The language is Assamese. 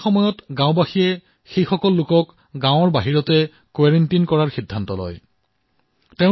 সেইবাবে গাঁৱৰ লোকসকলে পূৰ্বতেই গাঁৱৰ বাহিৰ কোৱাৰেণ্টিন ব্যৱস্থা স্থাপনৰ সিদ্ধান্ত গ্ৰহণ কৰিলে